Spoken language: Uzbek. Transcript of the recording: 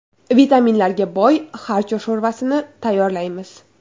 Vitaminlarga boy xarcho sho‘rvasini tayyorlaymiz.